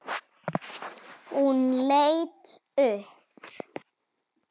Hún leit upp.